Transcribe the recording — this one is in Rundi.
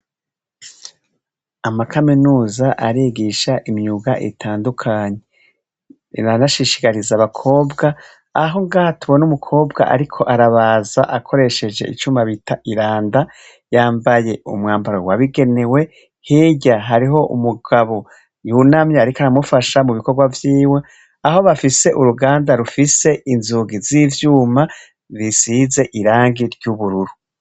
amakaminuza arigisha imyuga itandukanye iranashishigariza abakobwa aho ngaha tubona umukobwa ariko arabaza akoresheje icuma bita iranda yambaye umwambaro wabigenewe hirya hariho umugabo yunamye ariko aramufasha mu bikorwa vyiwe aho bafise uruganda rufise inzugi z'ivyuma bisize irangi ry'ubururu